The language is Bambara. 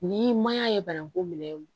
Ni maɲan ye bananku minɛ